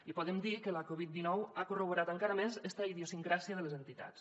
i podem dir que la covid dinou ha corroborat encara més esta idiosincràsia de les entitats